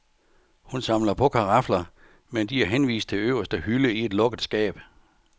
Hun samler på karafler, men de er henvist til øverste hylde i et lukket skab.